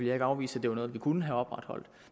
jeg ikke afvise at det var noget vi kunne have opretholdt